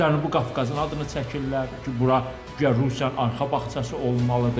Cənubi Qafqazın adını çəkirlər ki, bura guya Rusiyanın arxa bağçası olmalıdır.